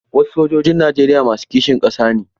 Wasu sojojin Najeriya masu kishin ƙasa ne.